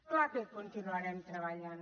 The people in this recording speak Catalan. clar que hi continuarem treballant